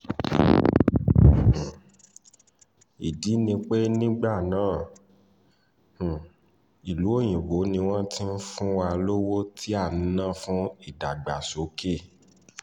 um ìdí ni pé nígbà náà um ìlú òyìnbó ni wọ́n ti ń fún wa lówó tí à ń ná fún ìdàgbàsókè